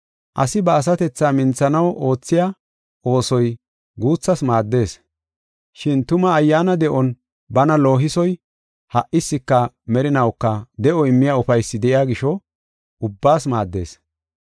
Asi ba asatethaa minthanaw oothiya oosoy guuthas maaddees. Shin tuma ayyaana de7on bana loohisoy ha77iska merinawuka de7o immiya ufaysi de7iya gisho, ubbaas maaddees.